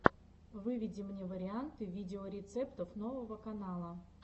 выведи мне варианты видеорецептов нового канала